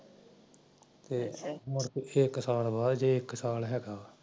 ਤੇ ਮੁੜ ਕ ਛੇ ਕੁ ਸਾਲ ਬਾਅਦ ਜੇ ਇੱਕ ਸਾਲ ਰਹਿ ਗਿਆ